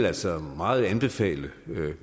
altså meget vil anbefale